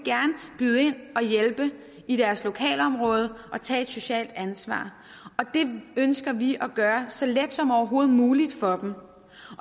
byde ind og hjælpe i deres lokalområde og tage et socialt ansvar og det ønsker vi at gøre så let som overhovedet muligt for dem